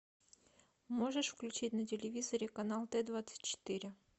можешь включить на телевизоре канал т двадцать четыре